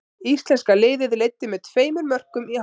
Íslenska liðið leiddi með tveimur mörkum í hálfleik.